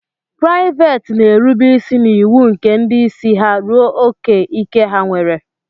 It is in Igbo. Praịveet na-erube isi n'iwu nke ndị isi ha ruo ókè ike ha nwere.